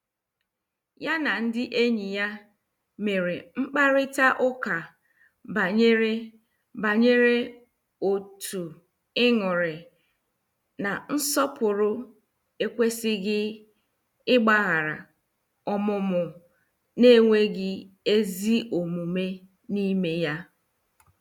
Ya na ndị enyi ya mere mkparita ụka banyere banyere otú ịṅụrị na nsọpụrụ ekwesịghị ịgbaghara ọmụmụ na- enweghị eziomume n' ime ya.